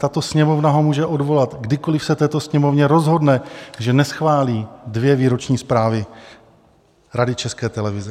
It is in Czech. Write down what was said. Tato Sněmovna ho může odvolat, kdykoliv se tato Sněmovna rozhodne, že neschválí dvě výroční zprávy Rady České televize.